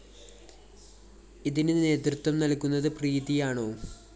ഇതിന് നേതൃത്വം നല്‍കുന്നത് പ്രീതിയാണോ?